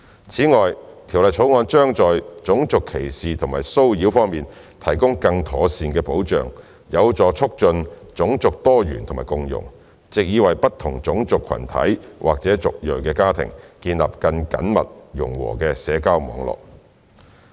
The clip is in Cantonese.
此外，《條例草案》將在種族歧視及騷擾方面提供更妥善的保障，有助促進種族多元和共融，藉以為不同種族群體或族裔的家庭建立緊密融和的社交網絡。